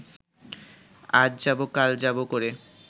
আজ যাব কাল যাব করে